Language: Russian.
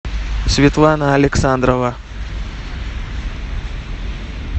светлана александрова